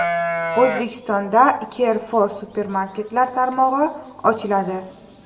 O‘zbekistonda Carrefour supermarketlar tarmog‘i ochiladi.